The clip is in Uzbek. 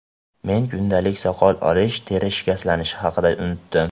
Men kundalik soqol olish, teri shikastlanishi haqida unutdim.